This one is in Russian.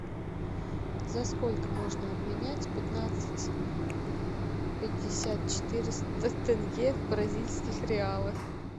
за сколько можно обменять пятнадцать пятьдесят четыреста тенге в бразильских реалах